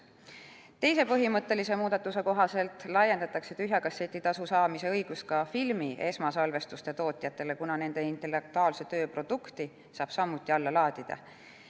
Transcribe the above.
Teise põhimõttelise muudatuse kohaselt laiendatakse tühja kasseti tasu saamise õigus ka filmi esmasalvestuse tootjatele, kuna nende intellektuaalse töö produkti saab samuti alla laadida.